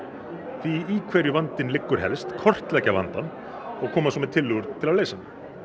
því í hverju vandinn liggur helst kortleggja vandann og koma svo með tillögur til að leysa hann